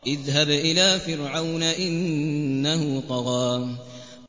اذْهَبْ إِلَىٰ فِرْعَوْنَ إِنَّهُ طَغَىٰ